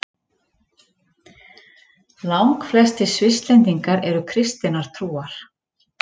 Langflestir Svisslendingar eru kristinnar trúar.